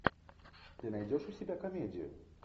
ты найдешь у себя комедию